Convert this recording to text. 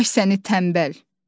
Ay səni tənbəl!